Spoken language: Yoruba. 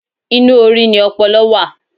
Inú orí ni ọpọlọ wà.